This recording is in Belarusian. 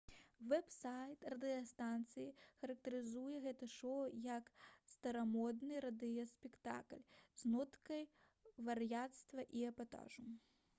вэб-сайт радыёстанцыі характарызуе гэта шоу як «старамодны радыёспектакль з ноткай вар'яцтва і эпатажу!»